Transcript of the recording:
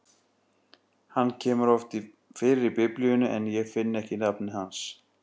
Hann kemur oft fyrir í Biblíunni, en ég finn ekki nafnið hans.